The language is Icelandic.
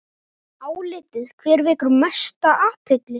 Álitið: Hver vekur mesta athygli?